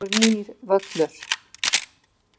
Glæsilegur nýr völlur.